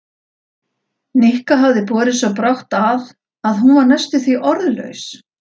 Nikka hafði borið svo brátt að að hún var næstum því orðlaus.